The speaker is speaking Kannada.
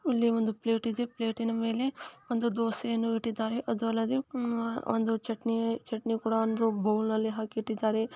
ಇಲ್ಲಿ ಒಂದು ಪ್ಲೇಟ್ ಇದೆ ಪ್ಲೇಟಿನ ಮೇಲೆ ಒಂದು ದೋಸೆಯನ್ನು ಇಟ್ಟಿದ್ದಾರೆ ಒಂದು ಬೌಲಲ್ಲಿ ಚಟ್ನಿ ಚಟ್ನಿ ಕೂಡ ಒಂದು ಬೌಲಲ್ಲಿ ಹಾಕಿ ಇಟ್ಟಿದ್ದಾರೆ .